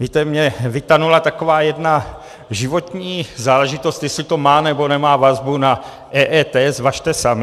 Víte, mně vytanula taková jedna životní záležitost, jestli to má, nebo nemá vazbu na EET, zvažte sami.